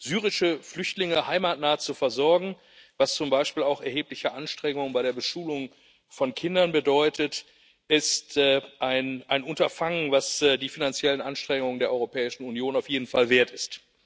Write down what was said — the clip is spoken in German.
Syrische Flüchtlinge heimatnah zu versorgen, was zum Beispiel auch erhebliche Anstrengungen bei der Beschulung von Kindern bedeutet, ist ein Unterfangen, das die finanziellen Anstrengungen der Europäischen Union auf jeden Fall wert ist.